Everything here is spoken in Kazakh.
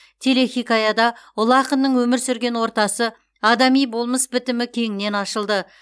телехикаяда ұлы ақынның өмір сүрген ортасы адами болмыс бітімі кеңінен ашылды